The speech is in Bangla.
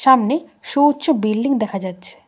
সামনে সোউচ্চ বিল্ডিং দেখা যাচ্ছে।